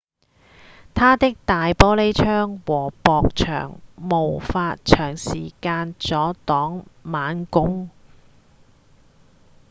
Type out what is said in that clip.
它的大玻璃窗和薄牆無法長時間阻擋猛攻